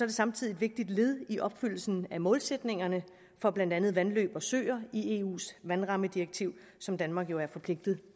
det samtidig et vigtigt led i opfyldelsen af målsætningerne for blandt andet vandløb og søer i eus vandrammedirektiv som danmark jo er forpligtet